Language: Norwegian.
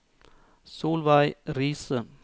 Solveig Riise